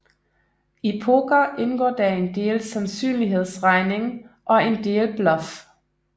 I poker indgår der en del sandsynlighedsregning og en del bluff